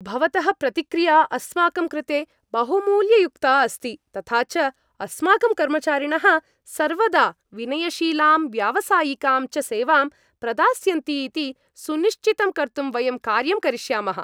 भवतः प्रतिक्रिया अस्माकं कृते बहुमूल्ययुक्ता अस्ति, तथा च अस्माकं कर्मचारिणः सर्वदा विनयशीलां व्यावसायिकां च सेवां प्रदास्यन्ति इति सुनिश्चितं कर्तुं वयं कार्यं करिष्यामः।